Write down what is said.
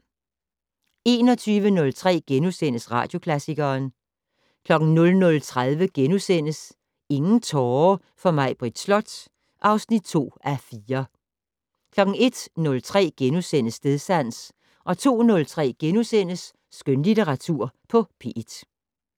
21:03: Radioklassikeren * 00:30: Ingen tårer for Maibritt Slot (2:4)* 01:03: Stedsans * 02:03: Skønlitteratur på P1 *